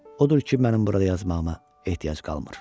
Odur ki, mənim burada yazmağıma ehtiyac qalmır.